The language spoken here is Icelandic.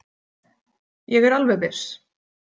Ég er alveg viss.